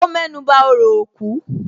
Ó mẹ́nuba òrò òkú